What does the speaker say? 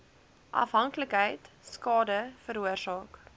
afhanklikheid skade veroorsaak